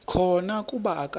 khona kuba akakho